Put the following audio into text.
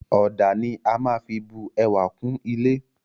Ọ̀dà ni a maá fí bu ẹwà kún ilé